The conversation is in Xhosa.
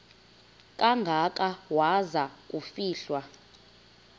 kangaka waza kufihlwa